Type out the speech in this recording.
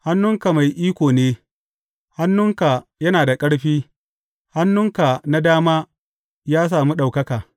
Hannunka mai iko ne; hannunka yana da ƙarfi, hannunka na dama ya sami ɗaukaka.